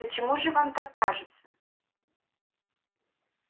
почему же вам так кажется